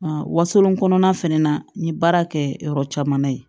Wasolon kɔnɔna fɛnɛ na n ye baara kɛ yɔrɔ caman ye